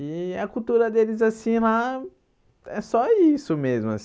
E a cultura deles assim lá é só isso mesmo